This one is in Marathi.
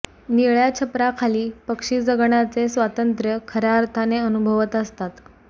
निळय़ा छपराखाली पक्षी जगण्याचे स्वातंत्र्य खऱ्या अर्थाने अनुभवत असतात